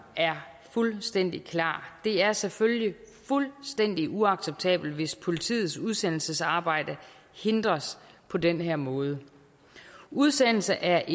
er fuldstændig klar det er selvfølgelig fuldstændig uacceptabelt hvis politiets udsendelsesarbejde hindres på den her måde udsendelse er